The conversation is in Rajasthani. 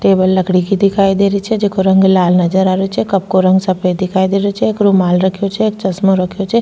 टेबल लकड़ी की दिखाई दे रही छे जेको रंग लाल नजर आ रेहो छे कप को रंग सफेद दिखाई देरो छे एक रूमाल रखयो छे एक चश्मा रखयो छे।